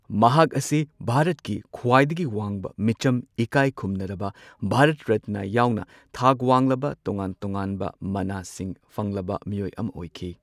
ꯃꯍꯥꯛ ꯑꯁꯤ ꯚꯥꯔꯠꯀꯤ ꯈ꯭ꯋꯥꯏꯗꯒꯤ ꯋꯥꯡꯕ ꯃꯤꯆꯝ ꯏꯀꯥꯈꯨꯝꯅꯔꯕ ꯚꯥꯔꯠ ꯔꯠꯅ ꯌꯥꯎꯅ ꯊꯥꯛ ꯋꯥꯡꯂꯕ ꯇꯣꯉꯥꯟ ꯇꯣꯉꯥꯟꯕ ꯃꯅꯥꯁꯤꯡ ꯐꯪꯂꯕ ꯃꯤꯑꯣꯏ ꯑꯃ ꯑꯣꯏꯈꯤ꯫